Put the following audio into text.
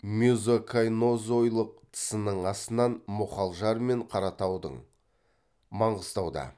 мезокайнозойлық тысының астынан мұғалжар мен қаратаудың маңғыстауда